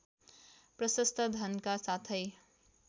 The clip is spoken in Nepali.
प्रशस्त धनका साथै